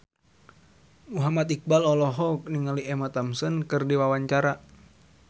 Muhammad Iqbal olohok ningali Emma Thompson keur diwawancara